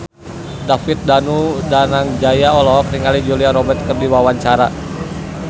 David Danu Danangjaya olohok ningali Julia Robert keur diwawancara